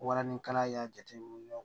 Walaninkala y'a jateminɛ